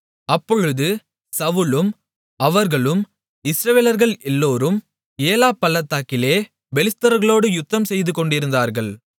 அப்பொழுது சவுலும் அவர்களும் இஸ்ரவேலர்கள் எல்லோரும் ஏலா பள்ளத்தாக்கிலே பெலிஸ்தர்களோடு யுத்தம்செய்துக்கொண்டிருந்தார்கள்